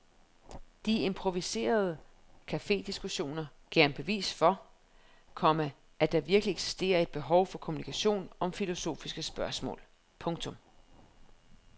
De improviserede cafediskussioner gav ham et bevis for, komma at der virkelig eksisterer et behov for kommunikation om filosofiske spørgsmål. punktum